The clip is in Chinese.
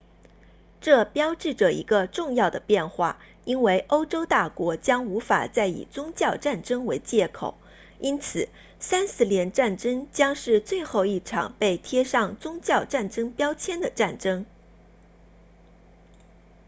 这标志着一个重要的变化因为欧洲大国将无法再以宗教战争为借口因此三十年战争将是最后一场被贴上宗教战争标签的战争